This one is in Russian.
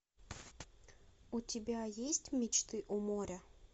у тебя есть мечты у моря